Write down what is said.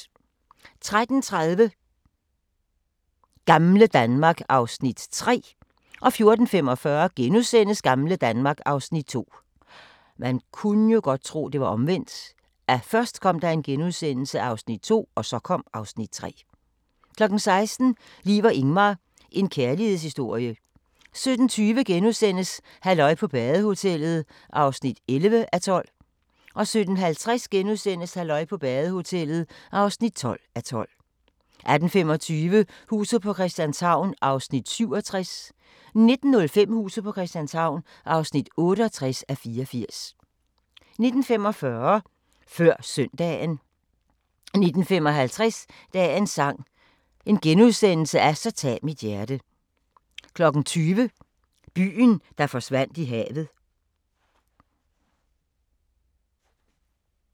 13:30: Gamle Danmark (Afs. 3) 14:45: Gamle Danmark (Afs. 2)* 16:00: Liv og Ingmar – en kærlighedshistorie 17:20: Halløj på badehotellet (11:12)* 17:50: Halløj på badehotellet (12:12)* 18:25: Huset på Christianshavn (67:84) 19:05: Huset på Christianshavn (68:84) 19:45: Før Søndagen 19:55: Dagens sang: Så tag mit hjerte * 20:00: Byen, der forsvandt i havet *